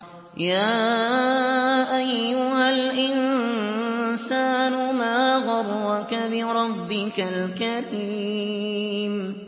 يَا أَيُّهَا الْإِنسَانُ مَا غَرَّكَ بِرَبِّكَ الْكَرِيمِ